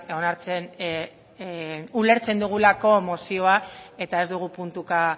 onartzen ulertzen dugulako mozioa eta ez dugu puntuka